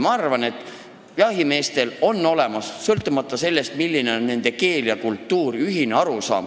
Ma arvan, et jahimeestel on, sõltumata sellest, milline on nende keel ja kultuur, ühine arusaam.